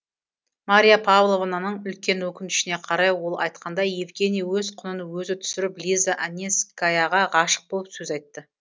мария павловнаның үлкен өкінішіне қарай ол айтқандай евгений өз құнын өзі түсіріп лиза анненскаяға ғашық болып сөз айтты